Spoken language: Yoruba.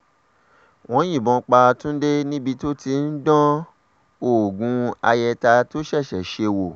wọ́n yìnbọn pa túnde níbi tó ti ń dán oògùn ayẹta tó ṣẹ̀ṣẹ̀ ṣe wò